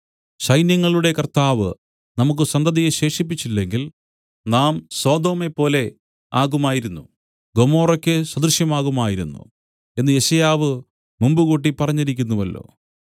സൈന്യങ്ങളുടെ കർത്താവ് നമുക്കു സന്തതിയെ ശേഷിപ്പിച്ചില്ലെങ്കിൽ നാം സൊദോമെപ്പോലെ ആകുമായിരുന്നു ഗൊമോറയ്ക്ക് സദൃശമാകുമായിരുന്നു എന്നു യെശയ്യാവ് മുമ്പുകൂട്ടി പറഞ്ഞിരിക്കുന്നുവല്ലോ